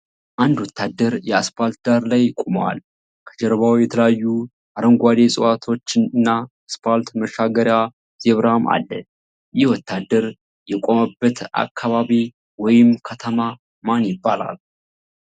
አንድ ወታደር የአስፓልት ዳር ላይ ቆምዋል። ከጀርባው የተለያዩ አረንጓዴ እጽዋቶች እና አስፓልት መሻገሪያ ዜብራም አለ። ይህ ወታደር የቆመበት አካባቢ ወይም ከተማ ምን ይባላል?